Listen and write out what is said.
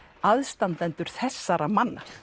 aðstandendur þessara manna